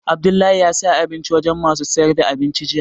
Abdullahi ya saya abinci wajen masu sayar da abinci jiya